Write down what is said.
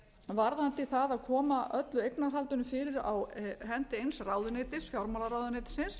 varðandi það að koma öllu eignarhaldinu fyrir á hendi eins ráðuneytis fjármálaráðuneytisins